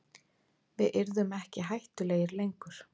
Við yrðum ekki hættulegir lengur.